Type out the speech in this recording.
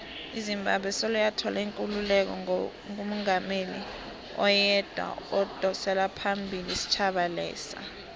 izimbabwe soloyathola ikululeko ngo ibenomungameli oyedwa odosaphambili isitjhaba lesa